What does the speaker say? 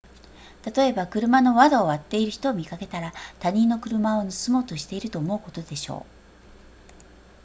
例えば車の窓を割っている人を見かけたら他人の車を盗もうとしていると思うことでしょう